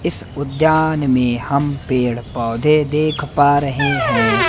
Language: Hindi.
इस उद्यान में हम पेड़ पौधे देख पा रहे हैं।